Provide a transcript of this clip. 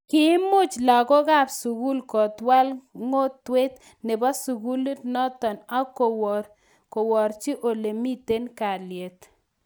Kiimuch lagokab sugul kotwal ng'otwet nebo sugulit noton ak korwochi ole miten kalyet